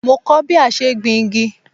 Mo kọ́ ọ́ bí a ṣe ń gbin igi